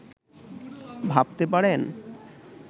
ভাবতে পারেন